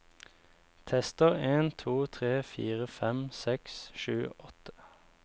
Tester en to tre fire fem seks sju åtte